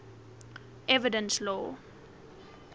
evidence law